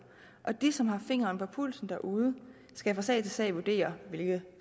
og de som har fingeren på pulsen derude skal fra sag til sag vurdere hvilke